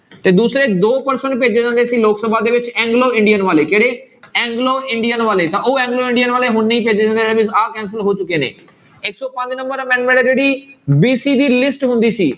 ਤੇ ਦੂਸਰੇ ਦੋ percent ਭੇਜੇ ਜਾਂਦੇ ਸੀ ਲੋਕ ਸਭਾ ਦੇ ਵਿੱਚ ਐਂਗਲੋ ਇੰਡੀਅਨ ਵਾਲੇ ਕਿਹੜੇ ਐਂਗਲੋ ਇੰਡੀਅਨ ਵਾਲੇ ਤਾਂ ਉਹ ਐਂਗਲੋ ਇੰਡੀਅਨ ਵਾਲੇ ਹੁਣ ਨਹੀਂ ਆਹ cancel ਹੋ ਚੁੱਕੇ ਨੇ ਇੱਕ ਸੌ ਪੰਜ number amendment ਹੈ ਜਿਹੜੀ BC ਦੀ list ਹੁੰਦੀ ਸੀ,